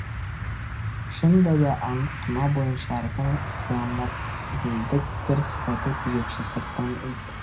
шынында да аңқыма бойынша ардың зооморфизмдік бір сипаты күзетші сырттан ит